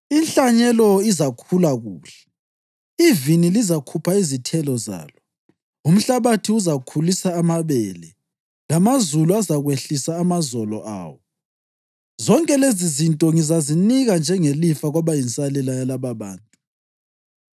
“Inhlanyelo izakhula kuhle, ivini lizakhupha izithelo zalo, umhlabathi uzakhulisa amabele, lamazulu azakwehlisa amazolo awo. Zonke lezizinto ngizazinika njengelifa kwabayinsalela yalababantu.